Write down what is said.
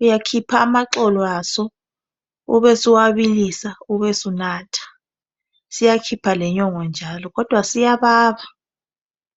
uyakhipha amaxolo aso ube suwabilisa ube sunatha, siyakhipha lenyongo njalo, kodwa siyababa.